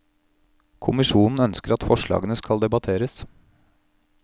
Kommisjonen ønsker at forslagene skal debatteres.